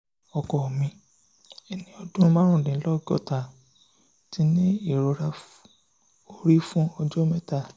ọkọ mi ẹni ọdún márùndínlọ́gọ́ta ti ní ìrora orí fún ọjọ́ ọjọ́ mẹ́ta